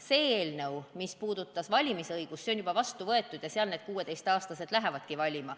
See eelnõu, mis puudutas valimisõigust, on juba vastu võetud ja selle alusel 16-aastased lähevadki valima.